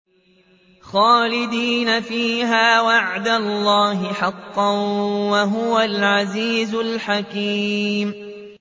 خَالِدِينَ فِيهَا ۖ وَعْدَ اللَّهِ حَقًّا ۚ وَهُوَ الْعَزِيزُ الْحَكِيمُ